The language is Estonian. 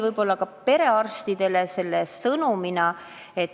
Võib-olla tekitas perearstidele kahju ka see sõnum.